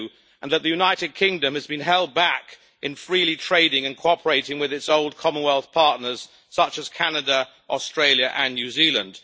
II, and that the United Kingdom has been held back in freely trading and cooperating with its old Commonwealth partners such as Canada, Australia and New Zealand.